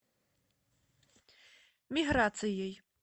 миграцией